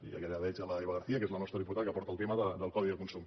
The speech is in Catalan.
i allà veig l’eva garcía que és la nostra diputada que porta el tema del codi de consum